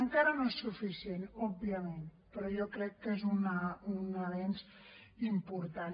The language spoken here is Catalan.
encara no és suficient òbviament però jo crec que és un avanç important